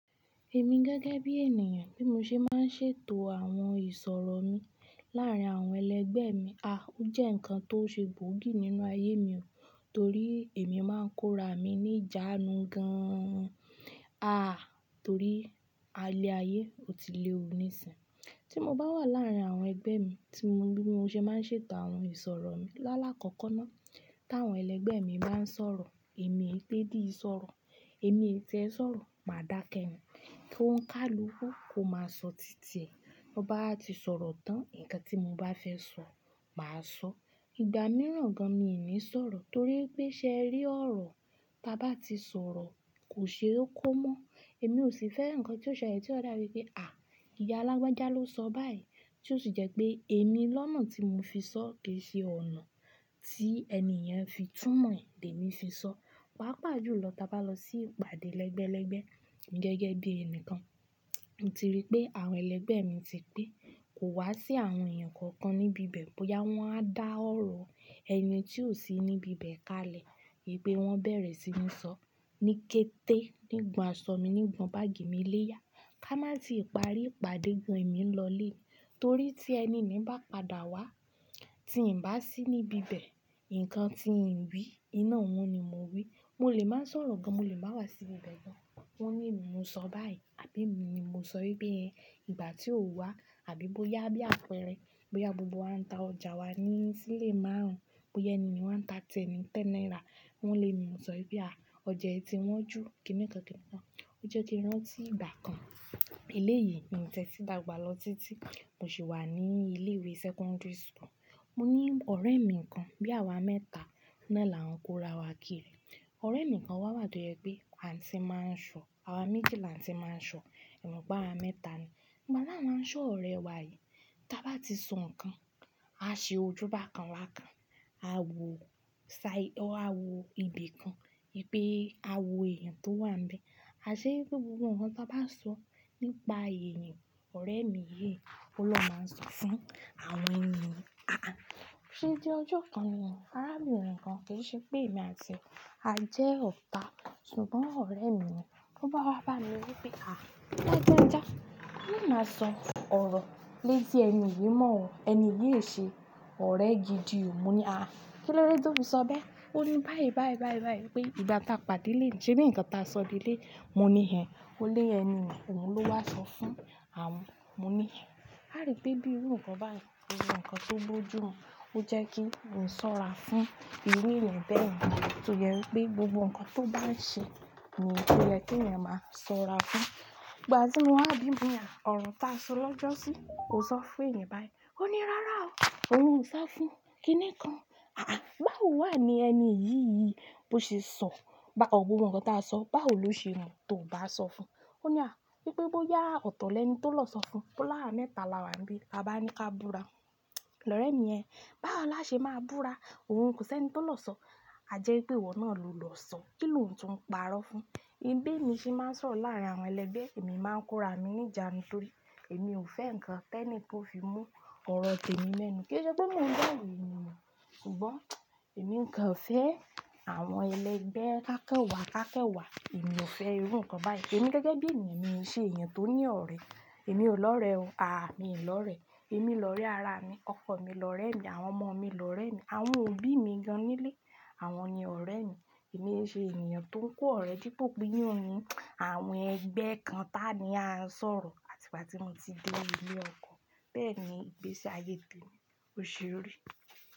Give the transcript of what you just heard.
Èmi gẹ́gẹ́ bí ènìyàn bí mo ṣe máa ń ṣètò àwọn ìsọ̀rọ̀ mi láàárín àwọn ẹlẹgbẹ́ mi, a, ó jẹ́ ǹkan tó ṣe gbòógì nínú ayé mi o, torí èmi máa ń kóra mi ní ìjánu gan-an, a, torí alẹ ayé ò tí lè o ní ìsìn. Tí mo bá wà láàárín àwọn ẹgbẹ́ mi tí mo ri bí mo ṣe máa ń ṣètò àwọn ìsọ̀rọ̀ mi, lálá kọ́kọ́ ná, tí àwọn ẹlẹgbẹ́ mi bá ń sọ̀rọ̀, èmi è té dì sọ̀rọ̀, èmi è tiẹ sọ̀rọ̀, mà dákẹ́ ni. Ki o n kálukú, ko má sọ títì ẹ. Tan bá wa ti sọ̀rọ̀ tán, ǹkan tí mo bá fẹ́ sọ mà a sọ. Ìgbà mìíràn gan-an mi ò ní sọ̀rọ̀ torí pé ṣe rí ọ̀rọ̀, ta bá ti sọ̀rọ̀ kò ṣe ó kó mọ́. Èmi ò sì fẹ́ ǹkan tí yóò ṣẹlẹ̀ tí ó dàbí pé, à, ìyá lagbaja ló sọ báyìí tí ó sì jẹ́ pé èmi lọ́nà tí mo fi sọ kì í ṣe ọ̀nà tí ẹniyen fi túmọ̀ è ni èmi fi sọ. Pa pà jù lọ ti a bá lọ sí ìpàdé ẹlẹgbẹ́lẹgbẹ́ emi gẹ́gẹ́ bí ẹnìkan. Mo ti rí pé àwọn ẹlẹgbẹ́ mi ti pe, kò wá sí àwọn ẹ̀yàn kankan níbi ibẹ̀ bóyá wọ́n wá dá ọ̀rọ̀ ẹni tí ò sí níbi ibẹ̀ kalẹ̀. Wipe wọ́n bẹ̀rẹ̀ sí ní sọ ní kété nígbà a sọ mí nígbà báàgì mi lé yá. Ká má i ti parí ìpàdé gan-an èmi lọlé. Torí tí ẹni ni bá padà wá tí n bá sí níbi ibẹ̀, ǹkan tí n wí iná wọn ni mó wí. Mo lè máa ń sọ̀rọ̀ gan, mo lè máa wá sí ibibẹ̀ mo. Wọ́n ni emi mo sọ báyìí, àbí mi ni mo sọ wipe ẹ. Ìgbà tí o wá àbí bóyá bí àpẹẹrẹ, bóyá gbogbo wa ń ta ọjà wa ní sílé márùn-ún, bóyá ẹni ni wá ń ta tẹ́ni tẹ́náírà, wọ́n lé mi mo sọ bí à, ọjà ẹ ti wọn jú kíni kan kíkan. Ó jẹ́ kí rán tí ìgbà kan. Ilé yìí mi tie tí dàgbà lọ títí mo sì wà ní ilé ìwé secondaryschool. Mo ní ọ̀rẹ́ mi kan bí àwa mẹ́ta ná là ń kóra wa kiri. Ọ̀rẹ́ mi kan wá wá to je pé àti máa ń sọ, àwa méjì là tí máa ń sọ, emo pe awa mẹ́ta ni. Ìgbà ta wá ń sọ ọ̀rẹ́ wa yìí, tá bá ti sọ ǹkan, a ṣe ojú bákan bákan, a wò sa-- a wò ibì kan, wi pe a wò ẹ̀yàn tó wà ń bẹ. A ṣe pe gbogbo ǹkan tá bá n sọ nípa eeyan, ọ̀rẹ́ mi yìí ló máa ń sọ fún àwọn eniyii. Aà, ṣe dí ojú kan nì, arábirin kan kì í ṣe pé èmi àti e jẹ́ ota. Ṣùgbọ́n ọ̀rẹ́ mi ni, ló bá wá bá mi wípé, à, lagbaja, maa á máa sọ ọ̀rọ̀ lé tí ẹni yìí mọ́ o, ẹni yìí ò ṣe ọ̀rẹ́ gidi o. Mo ní, à, kí ló dé tí o fi sọ bẹ́? Ó ní báyìí báyìí báyìí báyìí pé ìgbà tá a pàdé léni, ṣé bí ǹkan tá a sọ leleyi? Mo ní hẹ́n. Ó lé ẹni ni, òun ló wá sọ fún àwọn. Mo ní hẹ́n. A rí pé bí irú ǹkan báyìí, ko jo ǹkan tó bójú mu, ó jẹ́ kí n sọ́ra fún iru eyan bẹ́ẹ̀ yẹn. Torí ẹrú pé gbogbo ǹkan tó bá ń ṣe ni, oye kí eyan máa sọ́ra fún. Ìgbà tí mo wá bí mo ni, ọ̀rọ̀ tá a sọ lọ́jọ́sí ò sọ fún ènìyàn báyìí. Ó ní, rárá o, òhun ò so fún kíni kan. Aà, báwo wà ní ẹni yìí yìí bó ṣe sọ bá ọ gbogbo ǹkan tá a sọ, báwo ló ṣe mo tó ò bá sọ fún. Ó ní à, pé bóyá ọ̀tọ̀ọ́lẹ̀ ẹni tó lọ sọ fún o lawa mẹ́ta làwa níbí, a bá ní ká búra. Lọ̀rẹ́ mi ni ẹ, báwo la ṣe máa búra? Òun kò ṣẹni tó lọ sọ. A jẹ́ pé ìwọ náà ló lọ sọ. Kí ló ń tún parọ́ fún? Ìbéèni sì máa ń sọ̀rọ̀ láàárín àwọn ẹlẹgbẹ́, èmi máa ń kóra mi ní ìjánu torí èmi ò fẹ́ ǹkan tẹ́ni kan ó fi mú ọ̀rọ̀ tèmi mẹ́nu. Kì í ṣe pé mi ò dá òrò ènìyàn, ṣùgbọ́n èmi kàn fẹ́ àwọn ẹlẹgbẹ́ kákan wa kákan wa. Èmi ò fẹ́ irú ǹkan báyìí. Èmi gẹ́gẹ́ bí ènìyàn mi n ṣe èèyàn tó ní ọ̀rẹ́. Èmi ò lọ̀rẹ́ oh, à mi ò lọ̀rẹ́. Èmi lọ̀rẹ́ ara mi, ọkọ mi lọ̀rẹ́ mi, àwọn ọmọ mi lọ̀rẹ́ mi, àwọn òbí mi gan-an nílé, àwọn ni ọ̀rẹ́ mi. Èmi i ṣe ènìyàn tó ń kó ọ̀rẹ́ dípò pé yí o ní àwọn ẹgbẹ́ kan tá ni a ń sọ̀rọ̀ àti ìgbà tí mo ti dé ilé ọkọ. Bẹ́ẹ̀ ni ìgbésí ayé tó ní ó ṣe rí.